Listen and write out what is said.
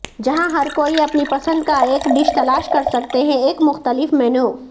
جہاں ہر کوئی اپنی پسند کا ایک ڈش تلاش کر سکتے ہیں ایک مختلف مینو